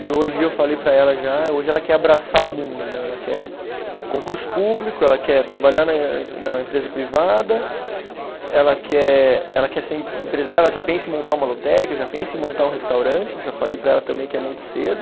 E hoje eu falei para ela já, hoje ela quer abraçar o mundo né, ela quer concurso público, ela quer trabalhar na em, na empresa privada, ela quer ela quer ser empresária, ela já pensa em montar uma lotérica, já pensa em montar um restaurante, eu já falei para ela também que é muito cedo.